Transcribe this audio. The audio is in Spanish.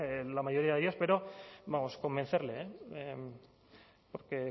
eh la mayoría de ellas pero vamos convencerle porque